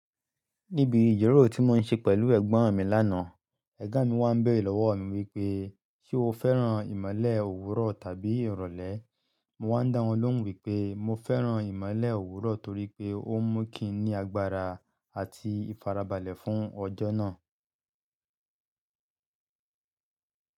Níbi ìjèrò tí mo ń ṣe pẹ̀lú ẹ̀gbọ́n mi lánàá, ẹ̀gbọ́n mi wá ń béèrè lọ́wọ́ mi wípé, "Ṣé o fẹ́ràn ìmọ́lẹ̀ òwúrọ̀ tàbí ìrọ̀lẹ́?" Mo wá ń dá wọn lóhùn wípé mo fẹ́ràn ìmọ́lẹ̀ òwúrọ̀ torí pé ó ń mú kí n ní agbára àti ìfarabalẹ̀ fún ọjọ́ náà.